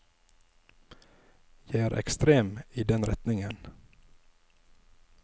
Jeg er ekstrem i den retning.